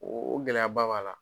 O gɛlɛyaba b'a la.